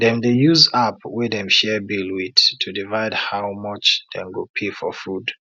dem dey use app wey dem share bill with to divide how much dem go pay for food